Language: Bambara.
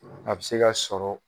A bɛ se ka sɔrɔ